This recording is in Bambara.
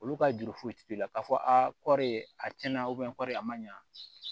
Olu ka juru foyi ti k'i la k'a fɔ aa kɔɔri ye a tiɲɛna kɔɔri a ma ɲa